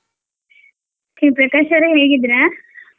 Pre~ Prakash ಅವ್ರೇ ಹೇಗಿದ್ರಾ?